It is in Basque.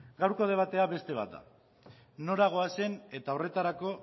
gaurko debatea beste bat da nora goazen eta horretarako